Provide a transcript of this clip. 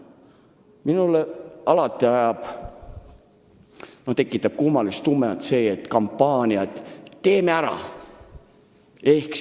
Minus tekitab alati kummalist tunnet kampaania "Teeme ära!".